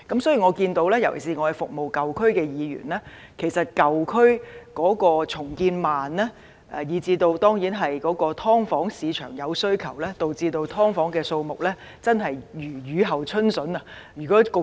所以，我們看到——尤其是我們是服務舊區的議員——舊區重建緩慢，而市場對"劏房"有需求，導致"劏房"的數目真的如雨後春筍般增加。